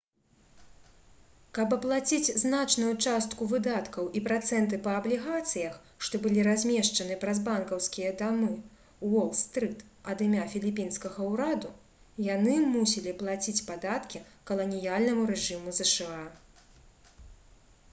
каб аплаціць значную частку выдаткаў і працэнты па аблігацыях што былі размешчаны праз банкаўскія дамы уол-стрыт ад імя філіпінскага ўраду яны мусілі плаціць падаткі каланіяльнаму рэжыму зша